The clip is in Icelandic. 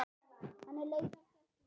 Henni leið ekkert vel.